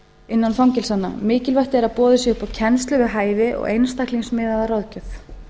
innan fangelsanna mikilvægt er að boðið sé upp á kennslu við hæfi og einstaklingsmiðaða ráðgjöf